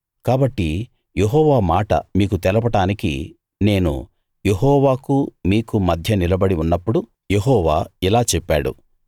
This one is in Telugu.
కాబట్టి యెహోవా మాట మీకు తెలపడానికి నేను యెహోవాకూ మీకూ మధ్య నిలబడి ఉన్నప్పుడు యెహోవా ఇలా చెప్పాడు